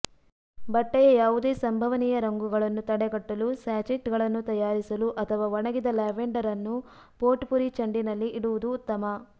ಬಟ್ಟೆಯ ಯಾವುದೇ ಸಂಭವನೀಯ ರಂಗುಗಳನ್ನು ತಡೆಗಟ್ಟಲು ಸ್ಯಾಚೆಟ್ಗಳನ್ನು ತಯಾರಿಸಲು ಅಥವಾ ಒಣಗಿದ ಲ್ಯಾವೆಂಡರ್ ಅನ್ನು ಪೋಟ್ಪುರ್ರಿ ಚೆಂಡಿನಲ್ಲಿ ಇಡುವುದು ಉತ್ತಮ